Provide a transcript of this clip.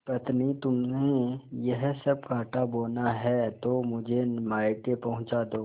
पत्नीतुम्हें यह सब कॉँटा बोना है तो मुझे मायके पहुँचा दो